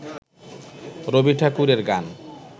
রবি ঠাকুরের গান